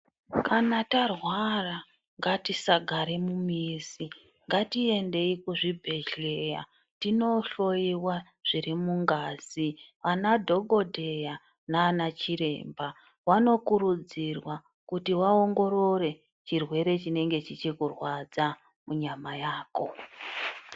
kana tarwara ngatisagare mumizi ngatiendei kuzvibhedhlera tinohloyiwa zvirimungazi ana dhokoteya nana chiremba vanokurudzirwa kuti vaongorore chirwere chinenge chichikurwadza munyama yako .